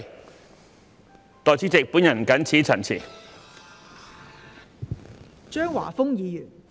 代理主席，我謹此陳辭。